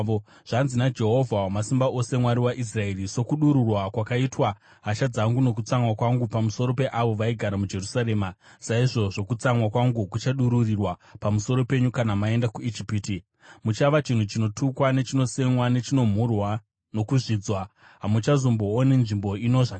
Zvanzi naJehovha Wamasimba Ose, Mwari waIsraeri, ‘Sokudururwa kwakaitwa hasha dzangu nokutsamwa kwangu pamusoro peavo vaigara muJerusarema, saizvozvo kutsamwa kwangu kuchadururirwa pamusoro penyu kana maenda kuIjipiti. Muchava chinhu chinotukwa nechinosemwa, nechinomhurwa, nokuzvidzwa; hamuchazombooni nzvimbo ino zvakare.’